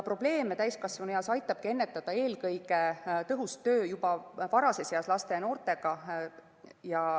Probleeme täiskasvanueas aitabki ennetada eelkõige tõhus töö juba varases eas, töö laste ja noortega.